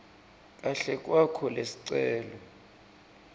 kahle kwakho lesicelo